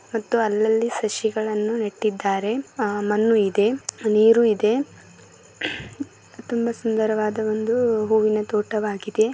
ಮತ್ತು ಅಲ್ಲಲ್ಲಿ ಸಸಿಗಳನ್ನು ನೆಟ್ಟಿದ್ದಾರೆ ಆ ಮಣ್ಣು ಇದೆ ನೀರು ಇದೆ ತುಂಬಾ ಸುಂದರವಾದ ಒಂದು ಹೂವಿನ ತೋಟವಾಗಿದೆ.